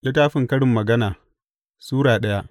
Karin Magana Sura daya